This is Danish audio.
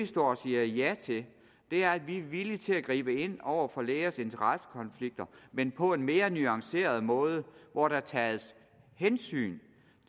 står og siger ja til er at vi er villige til at gribe ind over for lægers interessekonflikter men på en mere nuanceret måde hvor der tages hensyn